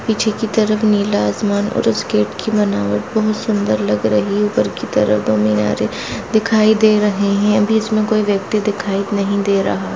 पीछे की तरफ नीला आसमान और उस गेट की बनावट बहुत सुन्दर लग रही है ऊपर की तरफ दो मीनारें दिखाई दे रहे हैं अभी इसमें कोई व्यक्ति दिखाई नहीं दे रहा।